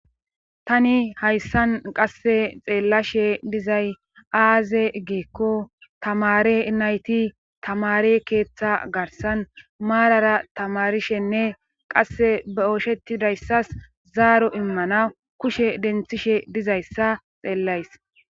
tani hayssan qasse xeellashe dizay aaze giikko tamare nayti tamare keeththa garsan maarara tamarishenne qasse ba ooshetidayssas zaaro immana kushe denthishe dizayssa xeellays